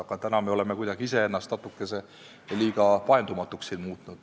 Aga täna me oleme iseennast siin natuke liiga paindumatuks muutnud.